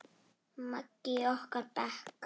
Maggi í okkar bekk?